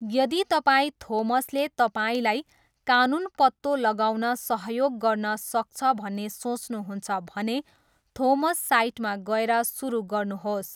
यदि तपाईँ थोमसले तपाईँलाई कानुन पत्तो लगाउन सहयोग गर्न सक्छ भन्ने सोच्नुहुन्छ भने, थोमस साइटमा गएर सुरु गर्नुहोस्।